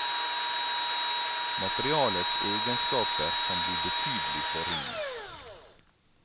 Materialets egenskaper kan bli betydelig forringet.